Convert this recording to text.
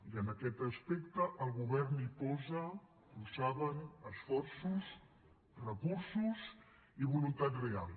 i en aquest aspecte el govern hi posa ho saben esforços recursos i voluntat real